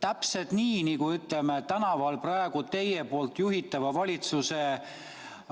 Täpselt nii, nagu tänaval praegu teie juhitava valitsuse